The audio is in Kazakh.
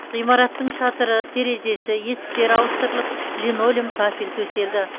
ғимараттың шатыры терезесі есіктері ауыстырылып линолеум кафель төселді